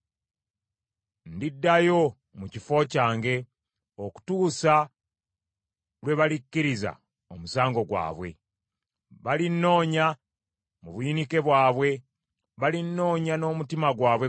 Ndiddayo mu kifo kyange, okutuusa lwe balikkiriza omusango gwabwe. Balinnoonya, mu buyinike bwabwe, balinnoonya n’omutima gwabwe gwonna.”